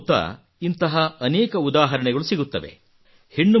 ನಮ್ಮ ಸುತ್ತ ಮುತ್ತ ಇಂತಹ ಅನೇಕ ಉದಾಹರಣೆಗಳು ಸಿಗುತ್ತವೆ